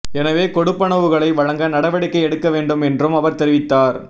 எனவே கொடுப்பனவுகளை வழங்க நடவடிக்கை எடுக்க வேண்டும் என்றும் அவர் தெரிவித்தார்